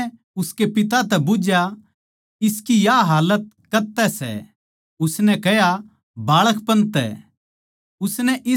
यीशु नै उसकै पिता तै बुझ्झया इसकी या हालत कद तै सै उसनै कह्या बाळकपण तै